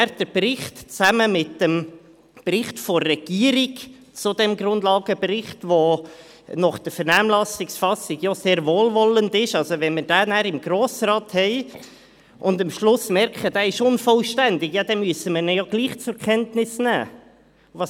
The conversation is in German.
Liegt der Bericht dann zusammen mit dem Bericht der Regierung zu diesem Grundlagenbericht, der gemäss Vernehmlassung sehr wohlwollend ist, dem Grossen Rat vor, und halten wir dann fest, dass er unvollständig ist, müssen wir ihn trotzdem zur Kenntnis nehmen.